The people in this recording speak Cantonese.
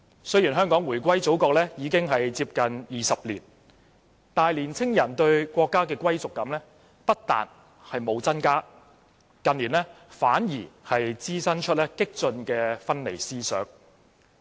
雖然香港回歸祖國接近20年，但青年人對國家的歸屬感不但沒有增加，近年反而滋生出激進的分離思想。